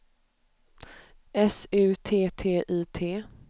S U T T I T